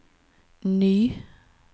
ny